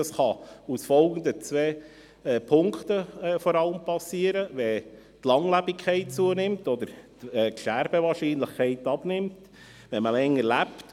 Das kann insbesondere aus den folgenden zwei Gründen geschehen: Wenn die Langlebigkeit zunimmt, respektive die Sterbewahrscheinlichkeit abnimmt, man also länger lebt.